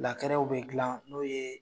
bɛ dilan n'o ye